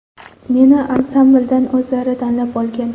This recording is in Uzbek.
Meni ansambldan o‘zlari tanlab olgan.